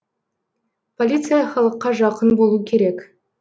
полиция халыққа жақын болу керек